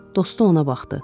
Dostu ona baxdı.